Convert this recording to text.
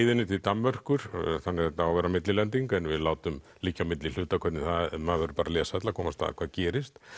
leiðinni til Danmerkur þannig að þetta á að vera millilending en við látum liggja á milli hluta hvernig það maður verður bara að lesa til að komast að hvað gerist